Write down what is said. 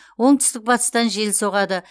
оңтүстік батыстан жел соғады